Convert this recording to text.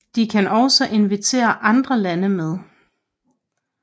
De kan også invitere andre lande med